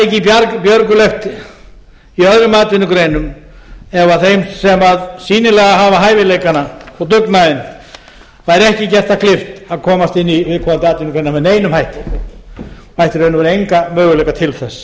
ekki björgulegt í öðrum atvinnugreinum ef þeim sem sýnilega hafa hæfileikana og dugnaðinn væri ekki gert það kleift að komast inn í viðkomandi atvinnugrein með neinum hætti ættu í raun og veru enga möguleika til þess